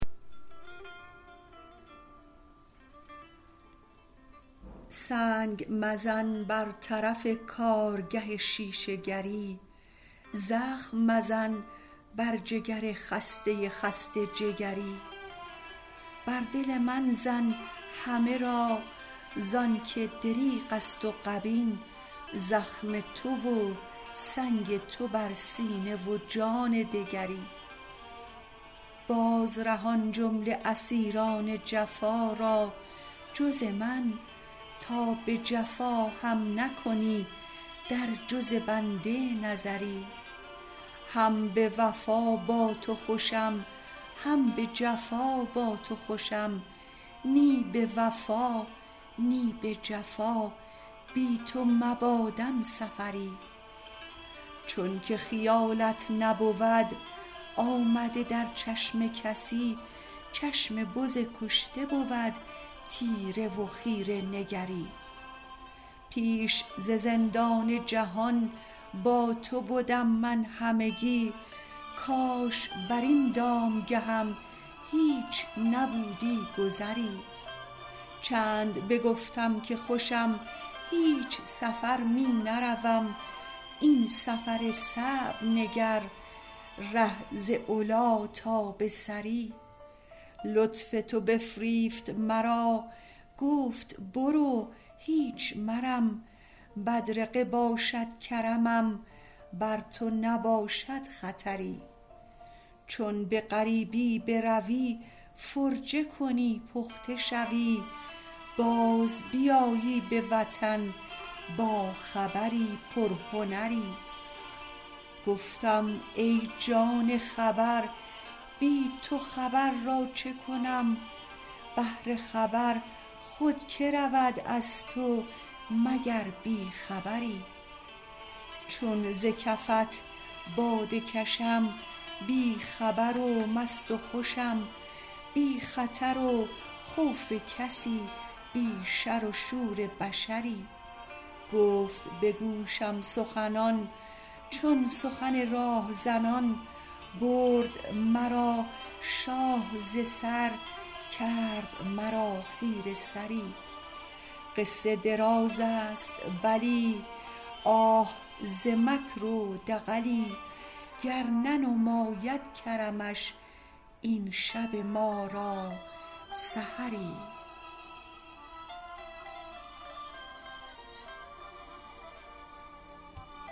سنگ مزن بر طرف کارگه شیشه گر ی زخم مزن بر جگر خسته خسته جگر ی بر دل من زن همه را ز آنک دریغ است و غبین زخم تو و سنگ تو بر سینه و جان دگری باز رهان جمله اسیر ان جفا را جز من تا به جفا هم نکنی در جز بنده نظری هم به وفا با تو خوشم هم به جفا با تو خوشم نی به وفا نی به جفا بی تو مباد م سفر ی چونک خیالت نبود آمده در چشم کسی چشم بز کشته بود تیره و خیره نگر ی پیش ز زندان جهان با تو بدم من همگی کاش بر این دام گه م هیچ نبودی گذری چند بگفتم که خوشم هیچ سفر می نروم این سفر صعب نگر ره ز علی تا به ثری لطف تو بفریفت مرا گفت برو هیچ مرم بدرقه باشد کرمم بر تو نباشد خطر ی چون به غریبی بروی فرجه کنی پخته شوی باز بیایی به وطن با خبر ی پر هنر ی گفتم ای جان خبر بی تو خبر را چه کنم بهر خبر خود که رود از تو مگر بی خبر ی چون ز کفت باده کشم بی خبر و مست و خوشم بی خطر و خوف کسی بی شر و شور بشر ی گفت به گوشم سخنان چون سخن راه زنان برد مرا شاه ز سر کرد مرا خیره سر ی قصه دراز است بلی آه ز مکر و دغلی گر ننماید کرمش این شب ما را سحر ی